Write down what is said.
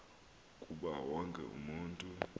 kuba wonke umntu